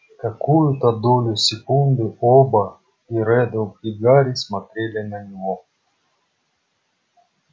какую-то долю секунды оба и реддл и гарри смотрели на него